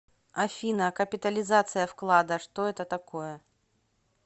афина капитализация вклада что это такое